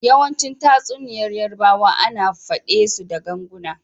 Yawanci tatsuniyar yarbawa ana fade su da ganguna.